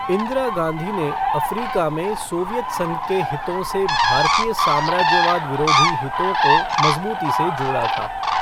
इंदिरा गांधी ने अफ़्रीका में सोवियत संघ के हितों से भारतीय साम्राज्यवाद विरोधी हितों को मज़बूती से जोड़ा था।